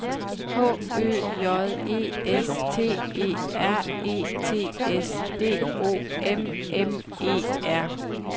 H Ø J E S T E R E T S D O M M E R